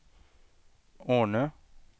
Ornö